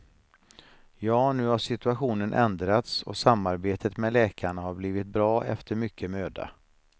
Ja, nu har situationen ändrats och samarbetet med läkarna har blivit bra efter mycket möda.